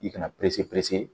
I kana